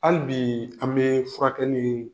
Hali bi an bɛ furakɛli